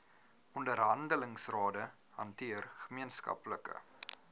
onderhandelingsrade hanteer gemeenskaplike